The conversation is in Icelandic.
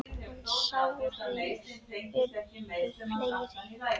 En sárin urðu fleiri.